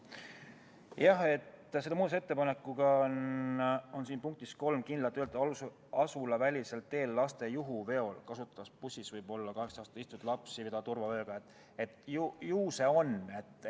Jah, selle muudatusettepanekuga on lõikes 3 kindlalt öeldud: "Asulavälisel teel laste juhuveol kasutatavas bussis võib alla 18-aastaseid istuvaid lapsi vedada turvavööga varustatud istekohtadel.